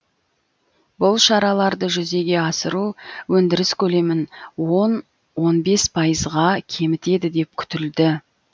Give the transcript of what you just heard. бұл шараларды жүзеге асыру өндіріс көлемін он он бес пайызға кемітеді деп күтілді